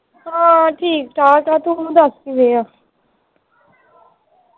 ਆਹ ਠੀਕ ਠਾਕ ਆ ਤੂੰ ਦੱਸ ਕਿਵੇਂ ਆ